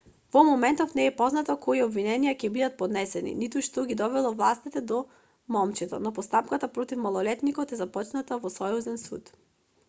во моментов не е познато кои обвиненија ќе бидат поднесени ниту што ги довело властите до момчето но постапката против малолетникот е започната во сојузен суд